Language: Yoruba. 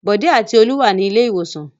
Bọ̀dé àti Olú wà ní ilé-ìwòsàn.